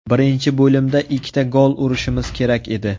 Birinchi bo‘limda ikkita gol urishimiz kerak edi.